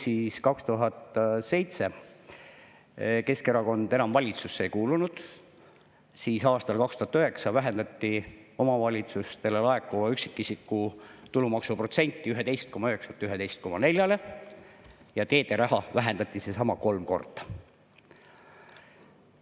Kui 2007 Keskerakond enam valitsusse ei kuulunud, siis aastal 2009 vähendati omavalitsustele laekuva üksikisiku tulumaksu protsenti 11,9-lt 11,4-le ja teede raha vähendati kolm korda.